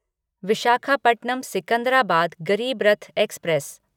Visakhapatnam Secunderabad Garib Rath express